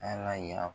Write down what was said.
Ala y'a